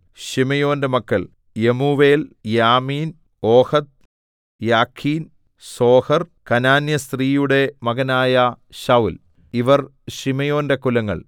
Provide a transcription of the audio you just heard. ശിമെയോന്റെ മക്കൾ Jemuel Jamin Ohad Jachin Zohar കനാന്യസ്ത്രീയുടെ മകനായ ശൌല്‍ ഇവർ ശിമെയോന്റെ കുലങ്ങൾ